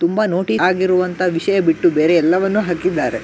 ತುಂಬಾ ನೋಟಿ ಆಗಿರುವಂತ ವಿಷಯ ಬಿಟ್ಟು ಬೇರೆ ಎಲ್ಲವನ್ನು ಹಾಕಿದ್ದಾರೆ.